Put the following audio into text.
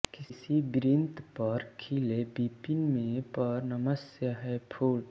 किसी वृन्त पर खिले विपिन में पर नमस्य है फूल